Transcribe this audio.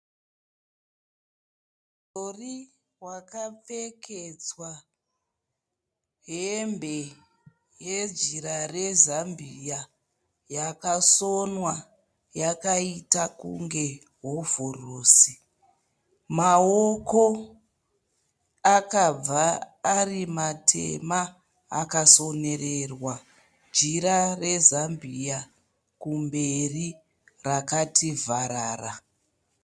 Mudhori wakapfekedzwa hembe yejira rezambiya yakasonwa yakaita kunge hovhorosi. Maoko akabva ari matema akasonererwa jira rezambiya kumberi rakati vharara.